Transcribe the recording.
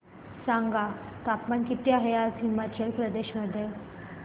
सांगा तापमान किती आहे आज हिमाचल प्रदेश मध्ये